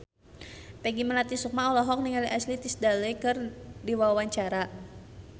Peggy Melati Sukma olohok ningali Ashley Tisdale keur diwawancara